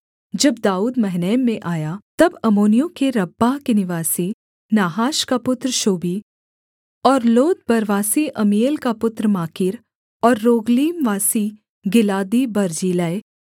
जब दाऊद महनैम में आया तब अम्मोनियों के रब्बाह के निवासी नाहाश का पुत्र शोबी और लोदबरवासी अम्मीएल का पुत्र माकीर और रोगलीमवासी गिलादी बर्जिल्लै